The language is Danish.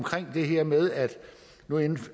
det her med at man